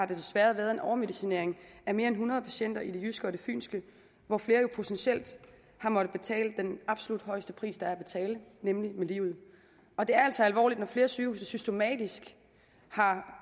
desværre været en overmedicinering af mere end hundrede patienter i det jyske og fynske hvor flere jo potentielt har måttet betale den absolut højeste pris der er at betale nemlig med livet og det er altså alvorligt når flere sygehuse systematisk har